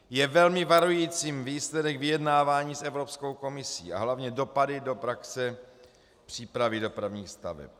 Je velmi varujícím výsledek vyjednávání s Evropskou komisí a hlavně dopady do praxe přípravy dopravních staveb.